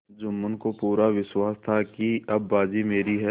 जुम्मन को पूरा विश्वास था कि अब बाजी मेरी है